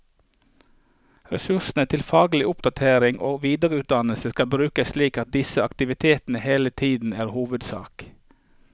Ressursene til faglig oppdatering og videreutdannelse skal brukes slik at disse aktivitetene hele tiden er hovedsak.